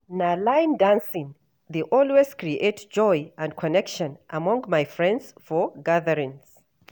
Na line dancing dey always create joy and connection among my friends for gatherings.